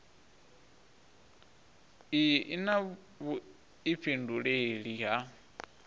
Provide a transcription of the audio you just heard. iyi i na vhuifhinduleli ha